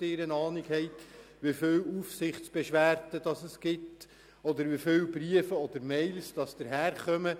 ich weiss nicht ob Sie eine Ahnung haben, wie viele Aufsichtsbeschwerden, Briefe oder Mails es gibt.